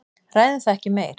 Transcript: Ræðum það ekki meir.